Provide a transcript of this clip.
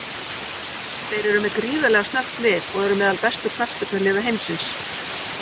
Þeir eru með gríðarlega snöggt lið og eru meðal bestu knattspyrnuliða heimsins.